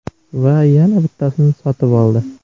Va yana bittasini sotib oldi.